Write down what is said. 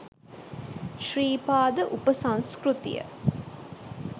Sri Pada උපසංස්කෘතිය.